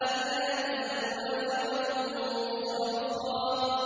أَلَّا تَزِرُ وَازِرَةٌ وِزْرَ أُخْرَىٰ